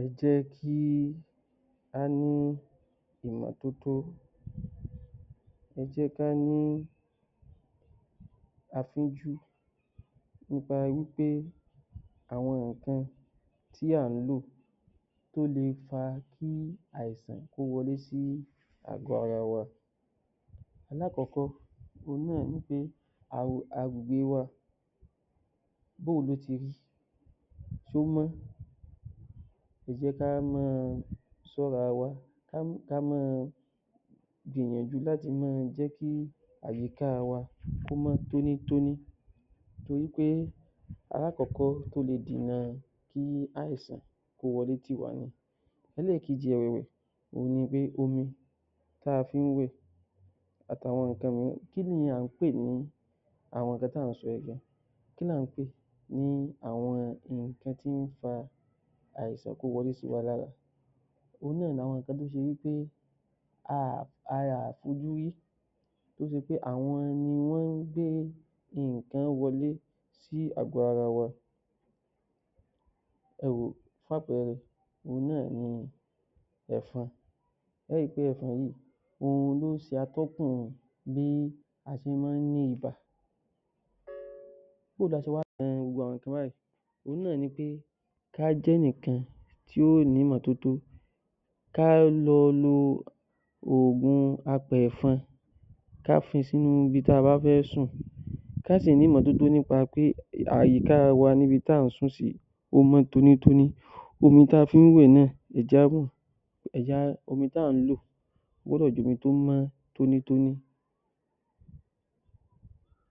Ẹ jẹ́ kí á ní ìmọ́totó, ẹ jẹ́ ká ní afínjú nípa wí pé àwọn nǹkan tí à ń lò tó le fa kí àìsàn kó wọlé sí agọ́ ara wa. Alákọ̀ọ́kọ́ náà ni pé agbègbè báwo ló ṣe rí ṣé ó mọ́? Ẹ jẹ́ kí á máa ṣọ́ra wa kí á máa gbìyànjú láti jẹ́ kí àyíká wa kó mọ́ tóní tóní torí alákọ̀ọ́kọ́ tó le dènà kí àìsàn kó wọlé sí wa lára Ẹlẹ́ẹ̀kejì ẹ̀wẹ̀, òhun ni pé omi tá a fi ń wẹ̀ àti àwọn nǹkan mìíràn. Kí ní à ń pè ní àwọn nǹkan tí à ń sọ yìí lọ kí ni à ń pè ní àwọn nǹkan tí ó jẹ́ kí àìsàn wọlé tọ ni lára òhun náà ni àwọn nǹkan tó ṣe wí pé a ò fojúrí tí ó jẹ́ pé wọ́n ń gbé nǹkan wọlé sí ààgọ́ ara wa ẹ wòó fún àpẹẹrẹ òhun náà ni Ẹ̀fọ̀n, ẹ ó rí í pé Ẹ̀fọn yìí òhun ló máa ń ṣe atọ́kùn bí a ṣe máa ń ní ibà báwo la ṣe wá le dẹ́kun nǹkan báyìí, kí á jẹ́ ẹnìkan tí ó ní ìmọ́totó kí á máa lo òògùn apẹ̀ẹ̀fọn, kí á fi sí ibi tí a bá fẹ́ sùn sí kí á sì ní ìmọ́totó nípa pé àyíká wa níbi tí à ń sùn sí ó mọ́ tóní tóní omi tí a fi ń wẹ̀ náà ẹ jí á omi tí à ń lò ó gbọdọ̀ jẹ́ omi tó mọ́ tóní tóní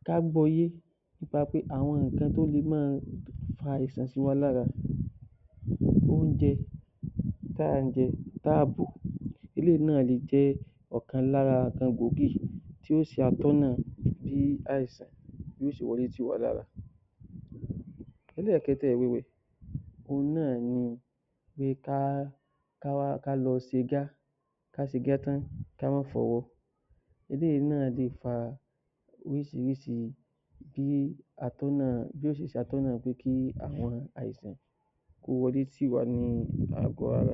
ká gbọ́ ọ yé nípa pé àwọn nǹkan tó lè máa fa àìsàn sí wa lára oúnjẹ tá ń jẹ tá à bò eléyìí náà le jẹ́ ọ̀kan lára nǹkan gbòógì tí yóò ṣe atọ́nà bí àìsàn yóò ṣe wọlé sí wa lára. Ẹlẹ́ẹ̀kẹẹ̀ta rẹ̀ òhun náà ni pé ká lọ ṣe gá kí á má fọwọ́ eléyìí náà lè fa bí orísìírísìí atọ́nà pé kí àwọn àìsàn ó wọlé sínú agọ́ ara wa. ‎‎‎